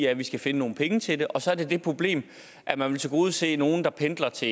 at vi skal finde nogle penge til det og så er der det problem at man vil tilgodese nogle der pendler til